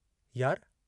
"यार!